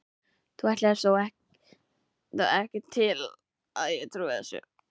Þú ætlast þó ekki til að ég trúi þessu.